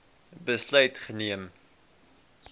besluit geneem